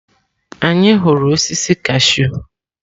Anyị hụrụ osisi kashụ.